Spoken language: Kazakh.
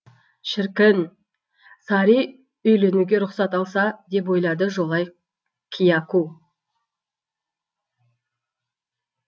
шіркін сари үйленуге рұқсат алса деп ойлады жолай кияку